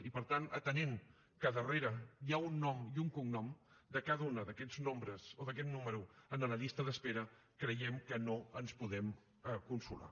i per tant atenent que darrere hi ha un nom i un cognom de cada un d’aquests nombres o d’aquest número en la llista d’espera creiem que no ens podem consolar